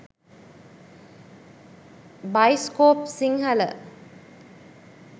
baiscope sinhala